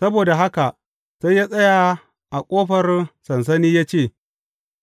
Saboda haka sai ya tsaya a ƙofar sansani ya ce,